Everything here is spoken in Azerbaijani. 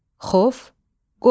Xof, qorxu.